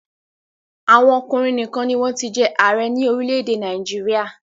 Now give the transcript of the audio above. Àwọn ọkùnrin nìkan ni wọ́n ti jẹ́ ààrẹ ní orílẹ̀-èdè Nàìjíríà.